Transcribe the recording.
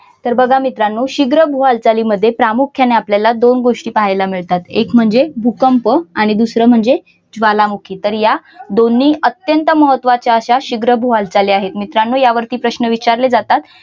सर्व बघा मित्रांनो शीघ्र भू हालचाली मध्ये प्रामुख्याने आपल्याला दोन गोष्टी पाहायला मिळतात एक म्हणजे भूकंप आणि दुसरा म्हणजे ज्वालामुखी तर या दोन्ही अत्यंत महत्त्वाच्या अश्या शीघ्र भू हालचाली आहेत मित्रांनो यावरती प्रश्न विचारले जातात.